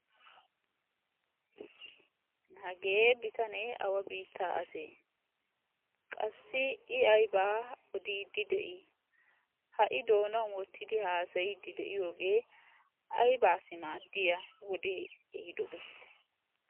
Hagee bitanee awa biitta ase? qassi I ayba odiiddi de'i? ha I doonan wottidi haassayide de'iyooge aybassi maaddiya wode ehidobe?